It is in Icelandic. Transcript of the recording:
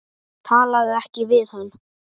Talaðu ekki við hann.